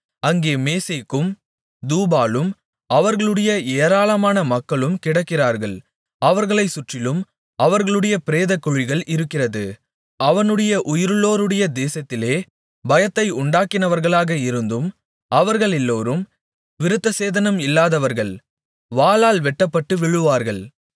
அங்கே மேசேக்கும் தூபாலும் அவர்களுடைய ஏராளமான மக்களும் கிடக்கிறார்கள் அவர்களைச் சுற்றிலும் அவர்களுடைய பிரேதக்குழிகள் இருக்கிறது அவனுடைய உயிருள்ளோருடைய தேசத்திலே பயத்தை உண்டாக்கினவர்களாக இருந்தும் அவர்களெல்லோரும் விருத்தசேதனம் இல்லாதவர்கள் வாளால் வெட்ட்டப்பட்டு விழுவார்கள்